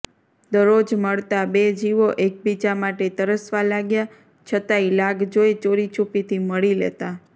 દરરોજ મળતા બે જીવો એકબીજા માટે તરસવા લાગ્યા છતાંય લાગ જોઈ ચોરીછૂપીથી મળી લેતા